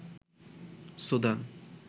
Sudan